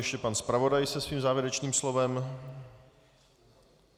Ještě pan zpravodaj se svým závěrečným slovem.